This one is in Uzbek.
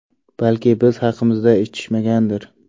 Balki biz haqimizda eshitishmagandir.